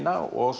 og